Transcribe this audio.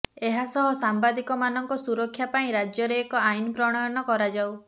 ଏହାସହ ସାମ୍ବାଦିକ ମାନଙ୍କ ସୁରକ୍ଷା ପାଇଁ ରାଜ୍ୟରେ ଏକ ଆଇନ ପ୍ରଣୟନ କରାଯାଉ